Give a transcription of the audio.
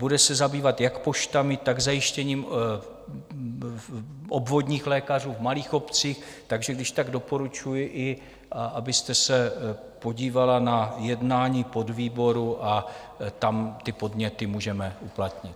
Bude se zabývat jak poštami, tak zajištěním obvodních lékařů v malých obcích, takže když tak doporučuji, abyste se podívala i na jednání podvýboru a tam ty podněty můžeme uplatnit.